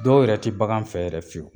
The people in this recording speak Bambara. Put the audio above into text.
Dɔw yɛrɛ te bagan fɛ yɛrɛ fiyewu.